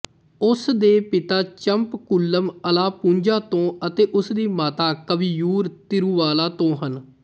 ਉਸ ਦੇ ਪਿਤਾ ਚੰਪਕੂਲਮ ਅਲਾਪੂਝਾ ਤੋਂ ਅਤੇ ਉਸਦੀ ਮਾਤਾ ਕਵੀਯੂਰ ਤਿਰੂਵਾਲਾ ਤੋਂ ਹਨ